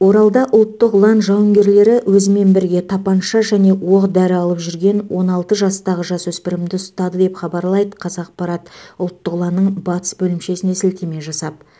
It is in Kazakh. оралда ұлттық ұлан жауынгерлері өзімен бірге тапанша және оқ дәрі алып жүрген он алты жастағы жасөспірімді ұстады деп хабарлайды қазақпарат ұлттық ұланның батыс бөлімшесіне сілтеме жасап